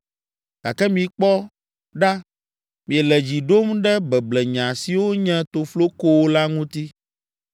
Gake mikpɔ ɖa miele dzi ɖom ɖe beblenya siwo nye toflokowo la ŋuti.